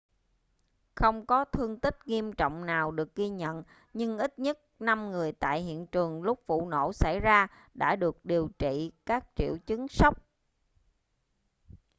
không có thương tích nghiêm trọng nào được ghi nhận nhưng ít nhất năm người tại hiện trường lúc vụ nổ xảy ra đã được điều trị các triệu chứng sốc